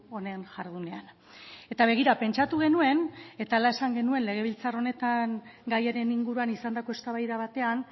honen jardunean eta begira pentsatu genuen eta hala esan genuen legebiltzar honetan gaiaren inguruan izandako eztabaida batean